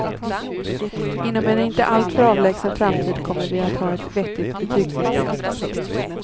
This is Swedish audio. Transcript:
Inom en inte alltför avlägsen framtid kommer vi att ha ett vettigt betygssystem. punkt